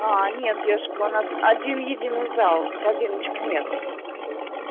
а нет девушка у нас один единый зал корзиночек нет